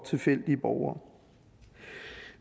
tilfældige borgere